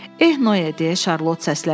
"Eh, Noe," - deyə Şarlot səsləndi.